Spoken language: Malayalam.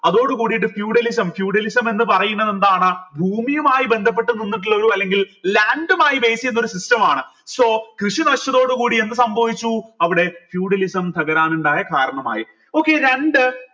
അതോടുകൂടിട്ട് feudalism feudalism എന്ന് പറയുന്നതെന്താണ് ഭൂമിയുമായി ബന്ധപ്പെട്ടു നിന്നിട്ടുള്ള ഒരു അല്ലെങ്കിൽ land മായി base എയ്ത ഒരു system മാണ് so കൃഷി നശിച്ചതോടെ കൂടി എന്ത് സംഭവിച്ചു അവിടെ feudalism തകരാനുണ്ടായ കാരണമായി okay രണ്ട്